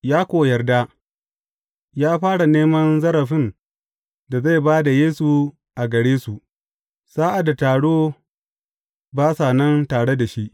Ya ko yarda, ya fara neman zarafin da zai ba da Yesu a gare su, sa’ad da taro ba sa nan tare da shi.